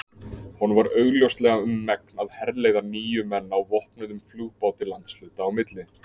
Honum var augljóslega um megn að herleiða níu menn á vopnuðum flugbáti landshluta á milli.